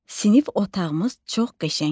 Sinif otağımız çox qəşəngdir.